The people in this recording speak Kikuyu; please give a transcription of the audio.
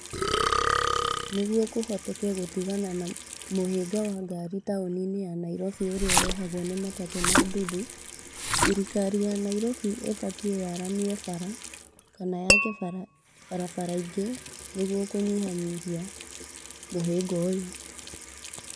Niguo kũhoteke gũtigana na mũhĩnga wa ngari taũni-ini ya Nairobi ũrĩa ũrehagwo nĩ matatũ na nduthi, thirikari ya Nairobi ĩbatiĩ yaramie bara kana yake barabara ingĩ nĩguo kũnyihanyia mũhĩnga ũyũ.